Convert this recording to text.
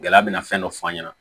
Gɛlɛya bɛna fɛn dɔ f'an ɲɛna